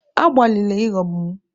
Agbalịla ịghọgbu m!